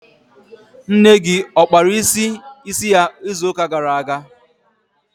Nne gị ọ kpara isi ya izu ụka gara aga?